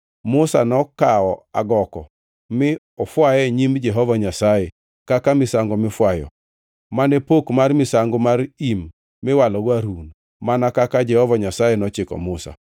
Musa nokawo agoko mi ofwaye e nyim Jehova Nyasaye kaka misango mifwayo; ma ne pok mar misango mar im miwalogo Harun, mana kaka Jehova Nyasaye nochiko Musa.